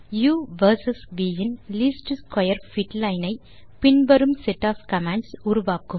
உ versus V இன் least square fit line ஐ பின் வரும் செட் ஒஃப் கமாண்ட்ஸ் உருவாக்கும்